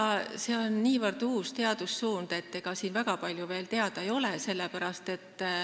Jah, see on niivõrd uus teadussuund, et ega siin väga palju veel teada ei ole.